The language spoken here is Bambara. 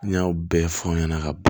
N'i y'a bɛɛ fɔ ɲɛna ka ban